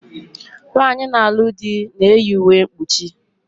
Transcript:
Nwaanyi na-alu di na-eyi uwe mkpuchi